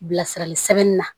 Bilasirali sɛbɛnni na